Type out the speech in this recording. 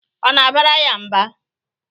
Ọ na-abara ya mba?